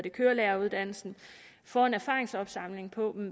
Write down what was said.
i kørelæreruddannelsen får en erfaringsopsamling på